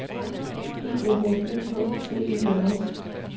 E F F E K T E N S